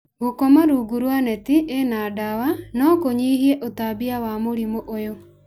Gũkoma rungu rwa neti ĩna ndawa no kũnyihie ũtambania wa mũrimũ ũyũ.